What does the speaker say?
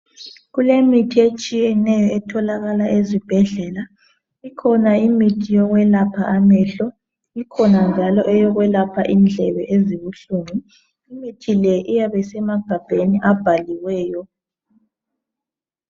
Kulemithi etshiyeneyo etholakala ezibhedlela ikhona imithi yokwelapha amehlo ikhona njalo eyokwelapha indlebe ezibuhlungu imithi le iyabe isemagabheni abhaliweyo.